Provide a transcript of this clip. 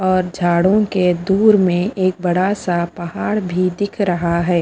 और झाड़ों के दूर में एक बड़ा सा पहाड़ भी दिख रहा है।